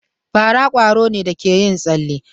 Fara kwaro ne da ke yin tsale.